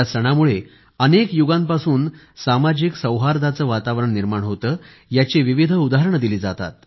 या सणामुळे अनेक युगांपासून सामाजिक सौहार्दाचं वातावरण निर्माण होतं याची विविध उदाहरणं दिली जातात